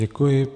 Děkuji.